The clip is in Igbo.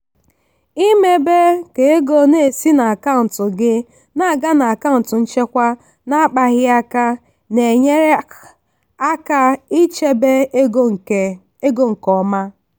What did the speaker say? ịmebe ka ego na-esi n'akaụntụ gị na-aga n'akaụntụ nchekwa na-akpaghị aka na-enyere aka ichebe ego nke ego nke ọma.